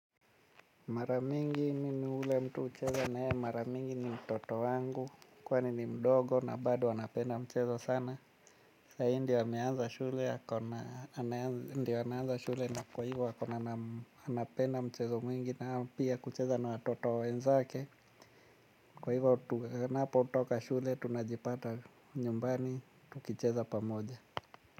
Mara mingi mimi yule mtu hucheza na yeye mara mingi ni mtoto wangu. Kwani ni mdogo na bado anapenda mchezo sana. Sahizi ndio ameanza shule, ndio ameanza shule na kwa hivyo akona. Anapenda mchezo mwingi na pia kucheza na watoto wenzake. Kwa hivyo anapo toka shule tunajipata nyumbani, tukicheza pamoja.